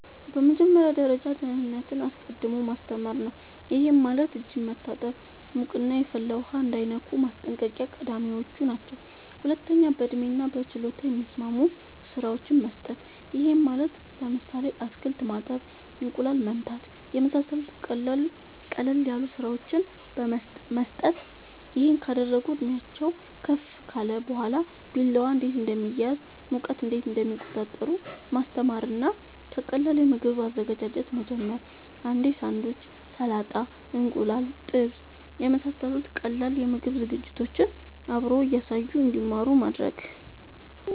በመጀመሪያ ደረጃ ደህንነትን አስቀድሞ ማስተማር ነዉ ይሄም ማለት እጅን መታጠብ ሙቅና የፈላ ውሃ እንዳይነኩ ማስጠንቀቅ ቀዳሚወች ናቸው ሁለተኛ በእድሜና በችሎታ የሚስማሙ ስራወችን መስጠት ይሄም ማለት ለምሳሌ አትክልት ማጠብ እንቁላል መምታት የመሳሰሉት ቀለል ያሉ ስራወችን መስጠት ይሄን ካደረጉ እድሜአቸውም ከፍ ካለ በኋላ ቢላዋ እንዴት እንደሚያዝ ሙቀት እንዴት እንደሚቆጣጠሩ ማስተማር እና ከቀላል የምግብ አዘገጃጀት መጀመር እንዴ ሳንዱች ሰላጣ እንቁላል ጥብስ የመሳሰሉት ቀላል የምግብ ዝግጅቶችን አብሮ እያሳዩ እንድማሩ ማድረግ